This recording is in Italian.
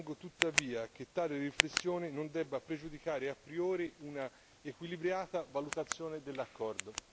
Ritengo tuttavia che tale riflessione non debba pregiudicare a priori un'equilibrata valutazione dell'accordo.